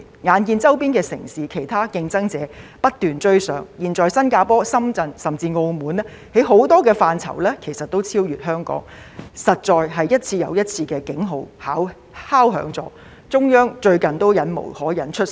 眼見周邊城市及其他競爭者不斷追上，現在新加坡、深圳甚至澳門在很多範疇上其實都已超越香港，實在是一次又一次的敲響了警號，最近中央都忍無可忍出手。